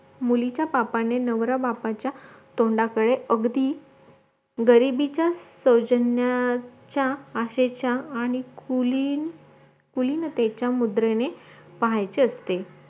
मुलींच्या बापाने नवऱ्या बापाच्या तोंडाकडे अगदी गरिबीचा सौजन्याच्या आशेच्या आणि कुलीन कुलिनतेचे मुद्रेने पाहायचे असते